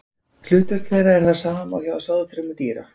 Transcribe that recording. Hlutverk þeirra er það sama og hjá sáðfrumum dýra.